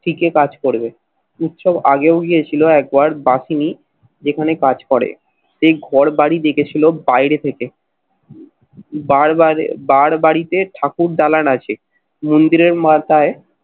থিকে কাজ করবে। উৎসব আগেও গিয়েছিল একবার বাসিনি যেখানে কাজ করে। সেই ঘরবাড়ি দেখেছিল বাইরে থেকে বারবারে বারবাড়িতে ঠাকুরদালান আছে, মন্দিরের মাথায়